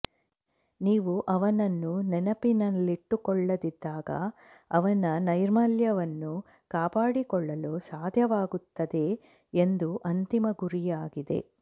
ನೀವು ಅವನನ್ನು ನೆನಪಿನಲ್ಲಿಟ್ಟುಕೊಳ್ಳದಿದ್ದಾಗ ಅವನ ನೈರ್ಮಲ್ಯವನ್ನು ಕಾಪಾಡಿಕೊಳ್ಳಲು ಸಾಧ್ಯವಾಗುತ್ತದೆ ಎಂದು ಅಂತಿಮ ಗುರಿಯಾಗಿದೆ